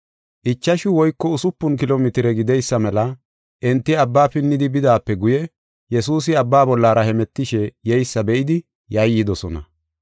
Ichashu woyko usupun kilo mitire gideysa mela enti abba pidhidi bidaape guye, Yesuusi abba bollara hemetishe yeysa be7idi yayyidosona.